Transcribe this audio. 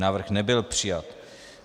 Návrh nebyl přijat.